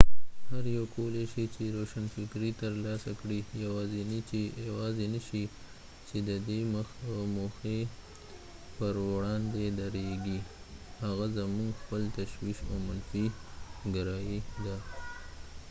هر یو کولی شي چې روشنفکري ترلاسه کړي یواځینی شی چې ددې موخې پر وړاندې درېږي هغه زمونږ خپل تشویش او منفي ګرایي ده